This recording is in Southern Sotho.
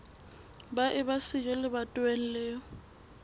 ba eba siyo lebatoweng leo